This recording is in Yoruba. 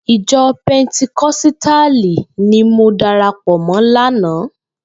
Ijò pèntíkòsítálí ni mò dàrápò mò làná